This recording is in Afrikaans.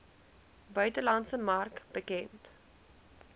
buitelandse mark bekend